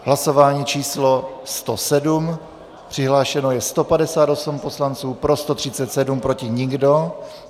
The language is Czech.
Hlasování číslo 107, přihlášeno je 158 poslanců, pro 137, proti nikdo.